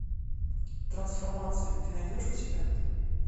трансформация ты найдешь у себя